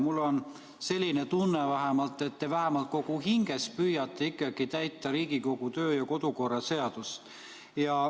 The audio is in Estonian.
Mul on selline tunne, et te kogu hingest püüate ikkagi täita Riigikogu kodu- ja töökorra seadust.